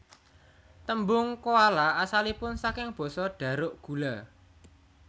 Tembung koala asalipun saking basa Dharuk gula